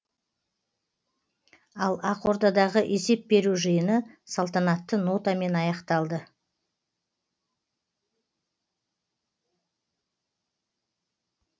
ал ақордадағы есеп беру жиыны салтанатты нотамен аяқталды